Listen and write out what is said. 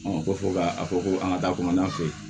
ko fɔ ka fɔ ko an ka taa kɔnɔna fɛ